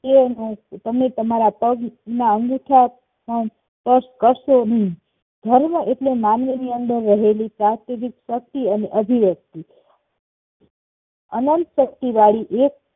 તમે તમે તમારા પગના અંગુઠા માં કાષ્ઠ કરશો હમ ધર્મ એટલે માનવીની અંદર રહેલી સાત્વિક શક્તિ અને અભિવ્યક્તિ અંનત શક્તિ વાળી એક